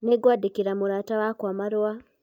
nĩngwadĩkĩra murata wakwa marua